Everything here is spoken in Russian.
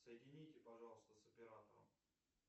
соедините пожалуйста с оператором